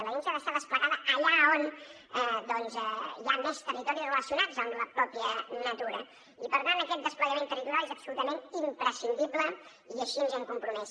l’agència ha d’estar desplegada allà on doncs hi ha més territoris relacionats amb la mateixa natura i per tant aquest desplegament territorial és absolutament imprescindible i així ens hi hem compromès